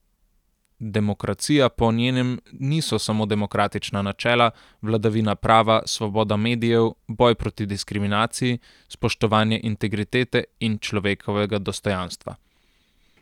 Demokracija po njenem niso samo demokratična načela, vladavina prava, svoboda medijev, boj proti diskriminaciji, spoštovanje integritete in človekovega dostojanstva.